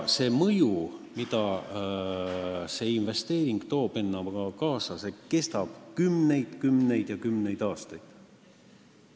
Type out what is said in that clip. See mõju, mida selline investeering endaga kaasa toob, kestab kümneid, kümneid ja kümneid aastaid.